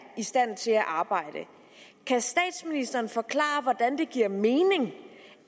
i stand til at arbejde kan statsministeren forklare hvordan det giver mening